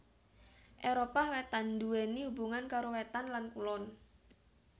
Éropah Wétan nduwèni hubungan karo wétan lan kulon